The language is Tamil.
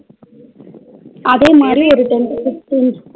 அதேமாரி ஒரு ten to fiftten